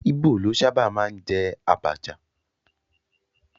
Íbò ló sábà máa ń jẹ àbàchà